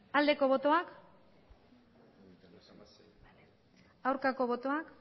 aldeko botoak aurkako botoak